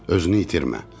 Özünü itirmə.